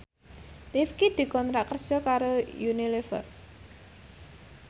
Rifqi dikontrak kerja karo Unilever